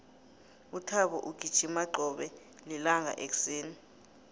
uthabo ugijima qobe lilanga ekuseni